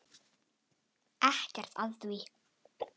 Ekkert að því!